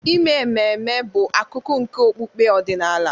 Ime ememe bụ akụkụ nke okpukpe ọdịnala.